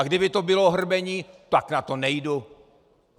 A kdyby to bylo hrbení, tak na to nejdu.